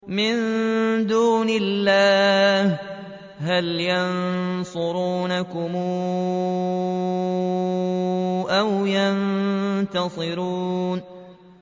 مِن دُونِ اللَّهِ هَلْ يَنصُرُونَكُمْ أَوْ يَنتَصِرُونَ